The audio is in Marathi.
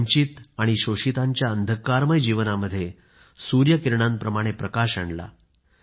वंचित आणि शोषितांच्या अंधःकारमय जीवनामध्ये सूर्यकिरणांप्रमाणे प्रकाश आणला